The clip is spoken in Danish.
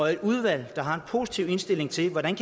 er et udvalg der har en positiv indstilling til hvordan